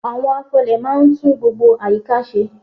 Àwọn afọlẹ̀ máa ń tún gbogbo àyíká ṣe.